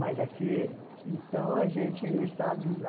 Mas aqui... Então a gente sabe lá...